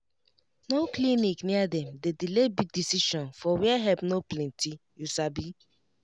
no clinic near dem dey delay big decision for where help no plenty you sabi